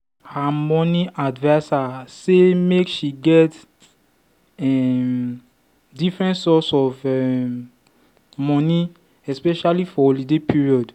her her money adviser say make she get um different source of um money especially for holiday period.